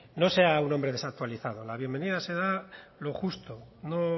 no sea un hombre desactualizado la bienvenida se da lo justo no